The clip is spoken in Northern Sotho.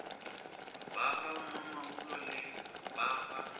ba gamamabolo le ba ga